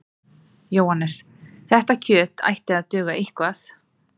Jóhannes: Þetta kjöt ætti að duga eitthvað?